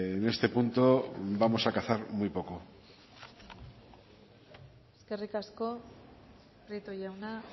en este punto vamos a cazar muy poco eskerrik asko prieto jauna